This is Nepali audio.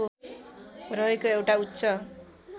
रहेको एउटा उच्च